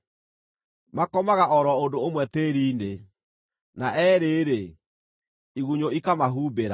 Makomaga o ro ũndũ ũmwe tĩĩri-inĩ, na eerĩ-rĩ, igunyũ ikamahumbĩra.